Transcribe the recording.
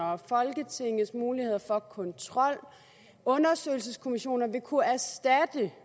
og folketingets muligheder for kontrol og undersøgelseskommissoner kunne erstatte